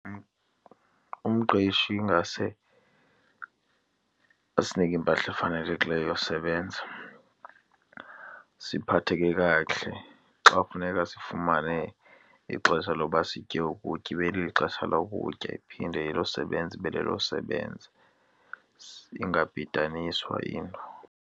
Umqeshi ingase asinike impahla efanelekileyo yosebenza, siphatheke kakuhle. Xa kufuneka sifumane ixesha loba sitye ukutya, ibe lixesha lokutya, iphinde elosebenza ibe lelokusebenza singabhidaniswa yinto.